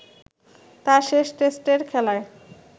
তাঁর শেষ টেস্টের খেলায়